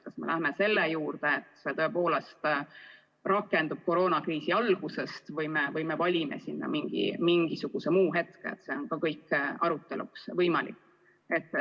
Kas me valime selle lahenduse, et see tõepoolest rakendub koroonakriisi algusest, või me valime mingisuguse muu hetke – see kõik on arutelu teema.